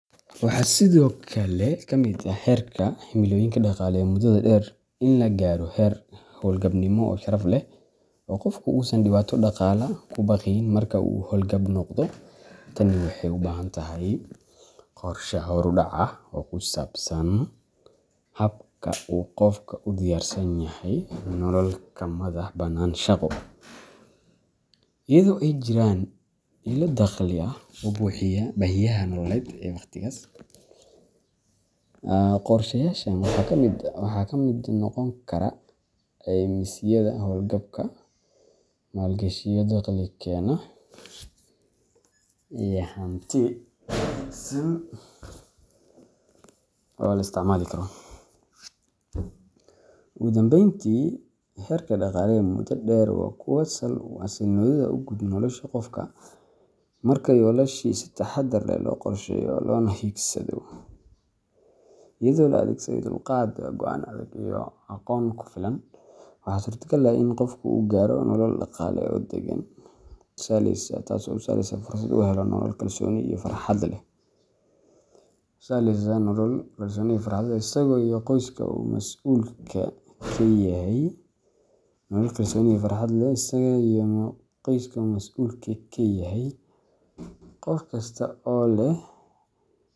Waxaa sidoo kale ka mid ah heerka dhaqaale ee muddada dheer in la gaaro heer howlgabnimo oo sharaf leh, oo qofku uusan dhibaato dhaqaale ka baqayn marka uu hawlgab noqdo. Tani waxay u baahan tahay qorshe horudhac ah oo ku saabsan habka uu qofku u diyaarsan yahay nolol ka madax-bannaan shaqo, iyadoo ay jiraan ilo dakhli oo buuxiya baahiyaha nololeed ee waqtigaas. Qorshayaashan waxaa ka mid noqon kara caymisyada howlgabka, maalgashiyo dakhli keena, iyo hanti kaydsan oo la isticmaali karo. Ugu dambeyntii, himilooyinka dhaqaale ee muddada dheer waa kuwo sal u ah xasilloonida guud ee nolosha qofka. Marka yoolashaasi si taxaddar leh loo qorsheeyo loona higsado iyadoo la adeegsado dulqaad, go’aan adag, iyo aqoon ku filan, waxaa suurtagal ah in qofku uu gaaro nolol dhaqaale oo deggan oo u sahlaysa inuu fursad u helo nolol kalsooni iyo farxad leh, isaga iyo qoyska uu masuulka ka yahay. Qof kasta oo leh himilo dhaqaale.